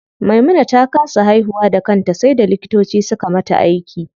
Maimuna ta kasa haihuwa da kanta sai da likitoci suka mata aiki.